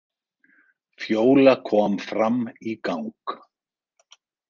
Fjóla kom fram í gang.